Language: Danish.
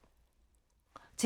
TV 2